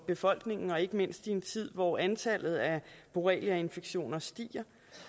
befolkningen og ikke mindst i en tid hvor antallet af borreliainfektioner stiger